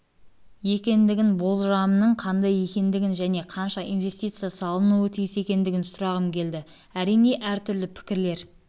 екендігін болжамның қандай екендігін және қанша инвестиция салынуы тиіс екендігін сұрағым келеді әрине әртүрлі пікірлер